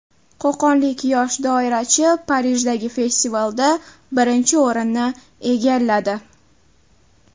Qo‘qonlik yosh doirachi Parijdagi festivalda birinchi o‘rinni egalladi.